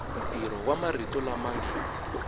ntirho wa marito lama nge